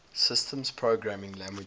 systems programming languages